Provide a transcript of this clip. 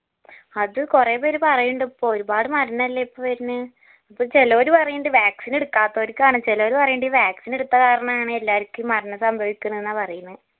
അത് കൊറേപ്പേര് പറയിണ്ട് ഇപ്പോ ഒരുപാട് മരുന്നല്ലേ ഇപ്പോ വരുന്ന് അപ്പോ ചിലവര് പറയിണ്ട് vaccine എടുക്കാത്തവർക്ക് ആണ് ചിലവര് പറയിണ്ട് vaccine എടുത്ത കാരണാണ് എല്ലാര്ക്കും മരണം സംഭവിക്കിന്നിന്ന പറയിന്ന്